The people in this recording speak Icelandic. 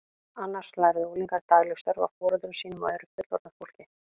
Annars lærðu unglingar dagleg störf af foreldrum sínum og öðru fullorðnu fólki.